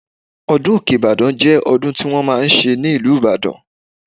Ọdún òkè Ìbàdàn jẹ́ ọdún tí wọ́n máa ń ṣe ní ìlú Ìbàdàn.